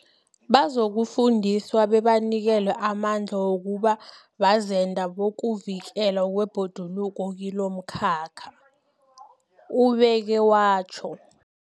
Bazokufundiswa bebanikelwe amandla wokuba bazenda bokuvikelwa kwebhoduluko kilomkhakha, ubeke watjho.